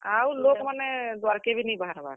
ଆଉ ଲୋକ୍ ମାନେ, ଦ୍ବାର୍ କେ ବି ନି ବାହାର୍ ବାର୍।